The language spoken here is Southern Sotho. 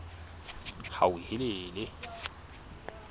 hauhelele